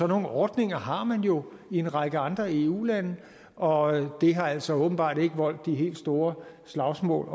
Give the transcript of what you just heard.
nogle ordninger har man jo i en række andre eu lande og det har altså åbenbart ikke voldt de helt store slagsmål